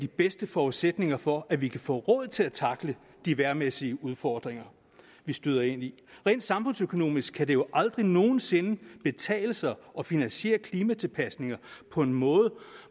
bedste forudsætning for at vi kan få råd til at tackle de vejrmæssige udfordringer vi støder ind i rent samfundsøkonomisk kan det jo aldrig nogen sinde betale sig at finansiere klimatilpasninger på en måde